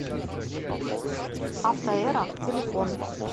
автоэра телефон